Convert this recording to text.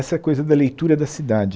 Essa coisa da leitura da cidade.